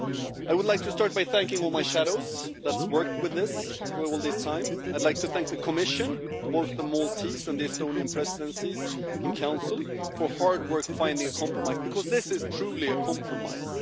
I would like to start by thanking all my shadows, who have worked on this for all this time, and I'd like to thank the Commission and both the Maltese and Estonian presidencies in the Council for their hard work finding a compromise, because this is truly a compromise.